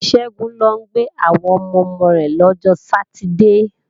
Ṣẹ́gun ń lọ gbé àwọn ọmọ-ọmọ rẹ̀ lọ́jọ sátidée